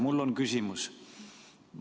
Mul on küsimus.